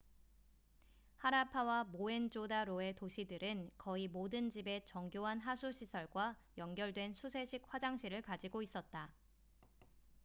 하라파와 모헨조다로의 도시들은 거의 모든 집에 정교한 하수 시설과 연결된 수세식 화장실을 가지고 있었다